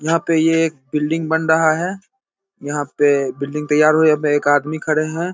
यहाँ पे ये बिल्डिंग बन रहा है। यहाँ पे बिल्डिंग तैयार हो रही है। यहां पे एक आदमी खड़े हैं।